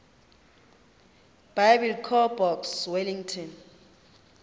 biblecor box wellington